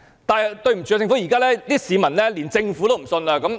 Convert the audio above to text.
但是，對不起，市民現在連政府也不信任。